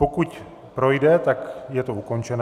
Pokud projde, tak je to ukončené.